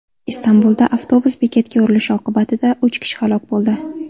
Istanbulda avtobus bekatga urilishi oqibatida uch kishi halok bo‘ldi.